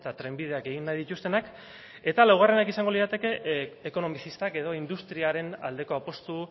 trenbideak egin nahi dituztenak eta laugarrenak izango lirateke ekonomizistak edo industriaren aldeko apustu